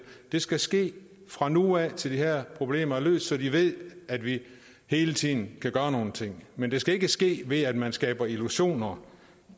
det skal ske fra nu af og til de her problemer er løst så de ved at vi hele tiden kan gøre nogle ting men det skal ikke ske ved at man skaber illusioner